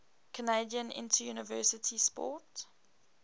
canadian interuniversity sport